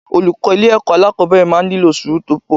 Olùkọ́ ilé ẹ̀kọ́ alákòbẹ̀rẹ̀ máa ń nílò sùúrù tó pọ̀.